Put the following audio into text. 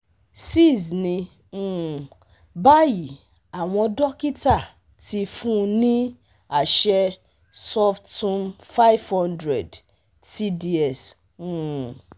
six ni um bayi awọn dokita ti fun ni aṣẹ suftumfive hundred tds um